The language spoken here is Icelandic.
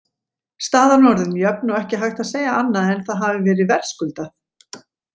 Staðan orðin jöfn og ekki hægt að segja annað en að það hafi verið verðskuldað.